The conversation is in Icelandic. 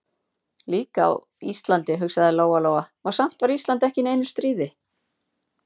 Líka á Íslandi, hugsaði Lóa-Lóa, og samt var Ísland ekki í neinu stríði.